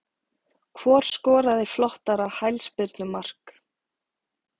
Hvor skoraði flottara hælspyrnu mark?